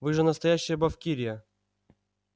вы же настоящая бавкирия